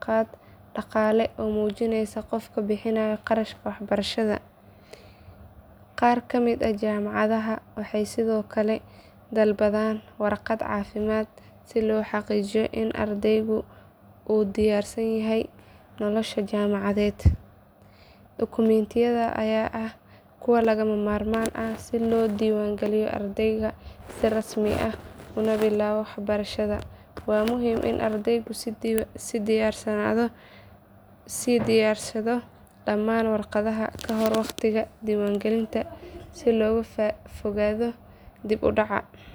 qaad dhaqaale oo muujinaysa qofka bixinaya qarashka waxbarashada. Qaar ka mid ah jaamacadaha waxay sidoo kale dalbadaan warqad caafimaad si loo xaqiijiyo in ardaygu u diyaarsan yahay nolosha jaamacadeed. Dukumiintiyadan ayaa ah kuwa lagama maarmaan ah si loo diiwaangaliyo ardayga si rasmi ah una bilaabo waxbarashada. Waa muhiim in ardaygu sii diyaarsado dhammaan warqadahan kahor waqtiga diiwaangelinta si looga fogaado dib u dhac.